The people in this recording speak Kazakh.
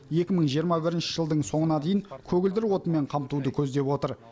екі мың жиырма бірінші жылдың соңына дейін көгілдір отынмен қамтуды көздеп отыр